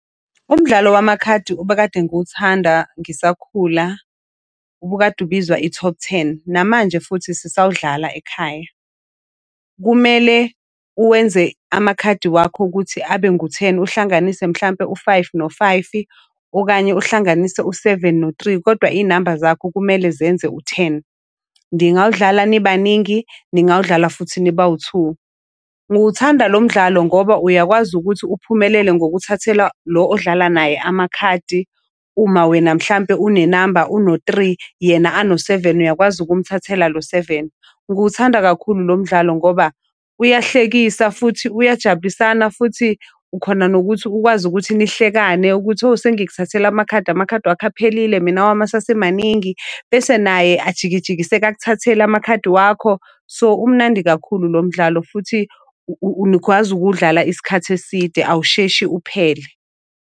Umdlalo wamakhadi obekade ngiwuthanda ngisakhula ubukade ubizwa i-top ten. Namanje futhi sisawudlala ekhaya. Kumele uwenze amakhadi wakho ukuthi abe ngu-ten. Uhlanganise mhlampe u-five no-five-i, okanye uhlanganise u-seven no-three, kodwa iy'namba zakho kumele zenze u-ten. Ndingawudlala nibaningi, ningawudlala futhi nibawu-two. Ngiwuthanda lo mdlalo ngoba uyakwazi ukuthi uphumelele ngokuthathela lo odlala naye amakhadi, uma wena mhlampe unenamba uno-three, yena ano-seven uyakwazi ukumthathela lo seven. Ngiwuthanda kakhulu lo mdlalo ngoba uyahlekisa, futhi uyajabulisana, futhi ukhona nokuthi ukwazi ukuthi nihlekane ukuthi owu sengikuthathele amakhadi amakhadi wakho aphelile, mina awami asesemaningi. Bese naye ajikijikiseka akuthathele amakhadi wakho. So umnandi kakhulu lo mdlalo futhi nikwazi ukuwudlala isikhathi eside awusheshi uphele.